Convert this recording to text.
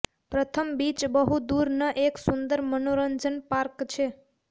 પ્રથમ બીચ બહુ દૂર ન એક સુંદર મનોરંજન પાર્ક છે